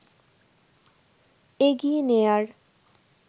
এগিয়ে নেয়ার